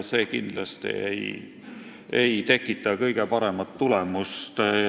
See ei tekita kindlasti kõige paremat tulemust.